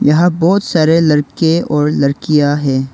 यहां बहुत सारे लड़के और लड़कियां है।